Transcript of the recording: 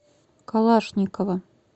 калашникова